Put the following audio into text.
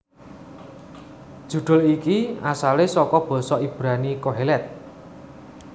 Judul iki asalé saka basa Ibrani Qoheleth